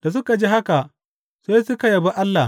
Da suka ji haka, sai suka yabi Allah.